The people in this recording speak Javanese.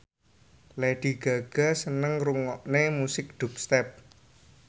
Lady Gaga seneng ngrungokne musik dubstep